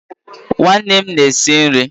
Nwannem na-esi nri